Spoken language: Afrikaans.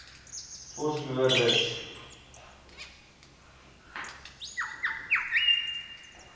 vosloorus